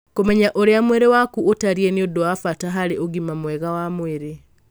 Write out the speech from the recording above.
Kũmenya ũrĩa mwĩrĩ waku ũtariĩ nĩ ũndũ wa bata harĩ ũgima mwega wa mwĩrĩ.